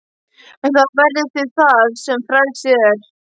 En þá verðið þið þar sem frelsið er.